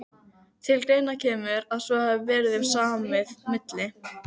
Um það getur rithöfundurinn og fræðagrúskarinn Skúli Guðjónsson frætt okkur.